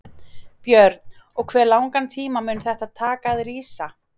Björn: Og hve langan tíma mun þetta taka að rísa?